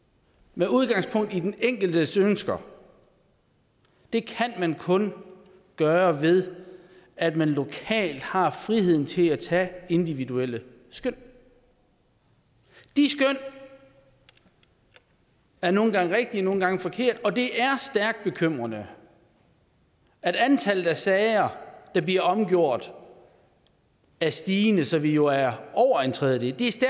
med udgangspunkt i den enkeltes ønsker det kan man kun gøre ved at man lokalt har friheden til at tage individuelle skøn de skøn er nogle gange rigtige og nogle gange forkerte og det er stærkt bekymrende at antallet af sager der bliver omgjort er stigende så vi jo er over en tredjedel det